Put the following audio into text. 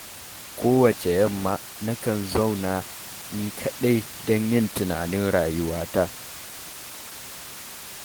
Kowacce yamma, nakan zauna ni kaɗai don yin tunanin rayuwata.